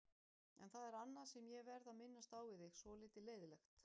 En það er annað sem ég verð að minnast á við þig, svolítið leiðinlegt.